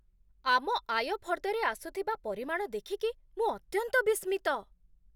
ଆମ ଆୟ ଫର୍ଦ୍ଦରେ ଆସୁଥିବା ପରିମାଣ ଦେଖିକି ମୁଁ ଅତ୍ୟନ୍ତ ବିସ୍ମିତ!